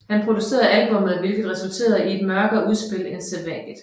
Han producerede albummet hvilket resulterede i et mørkere udspil end sædvanligt